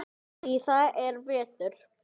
Það er vetur.